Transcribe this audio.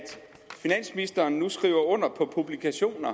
finansministeren nu skriver under på publikationer